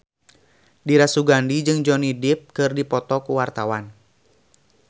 Dira Sugandi jeung Johnny Depp keur dipoto ku wartawan